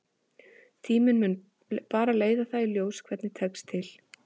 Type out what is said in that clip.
Tíminn mun bara leiða það í ljós hvernig tekst til.